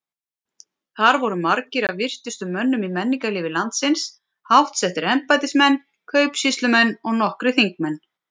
Þar voru margir af virtustu mönnum í menningarlífi landsins, háttsettir embættismenn, kaupsýslumenn og nokkrir þingmenn.